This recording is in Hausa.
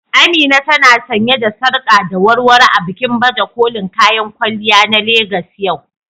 Amina ta na sanye da sarƙa da warwaro a bikin baje kolin kayan kwalliya na Legas yau.